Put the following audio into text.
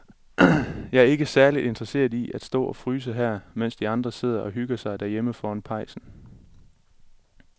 Jeg er ikke særlig interesseret i at stå og fryse her, mens de andre sidder og hygger sig derhjemme foran pejsen.